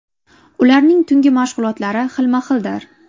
Ularning tungi mashg‘ulotlari xilma-xildir.